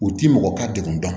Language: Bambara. U ti mɔgɔ ka degun dɔn